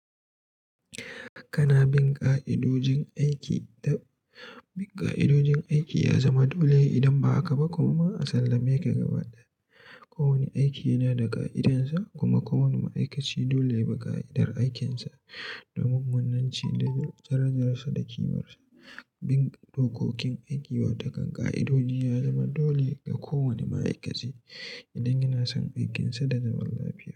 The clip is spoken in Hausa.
Kana bin ƙa'idojin aiki dan bin ƙa'idojin aiki ya zama dole idan ba haka ba kuma a sallame ka gaba ɗaya. Ko wane aiki yana da ƙa'idarsa kuma kowane ma'aikaci dole yabi ƙa'idar aikinsa domin munananci da jar kirjarsa da ƙimarsa. Bin dokokin aiki wata ƙan ƙa'idoji ya zama dole ga kowane ma'aikaci idan yana son aikinsa da zaman lafiya.